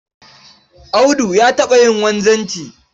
Audu ya taɓa yin wanzanci